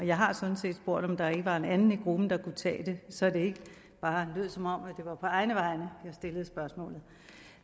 jeg har sådan set spurgt om der ikke var en anden i gruppen der kunne tage det så det ikke bare lød som om det var på egne vegne jeg stillede spørgsmålet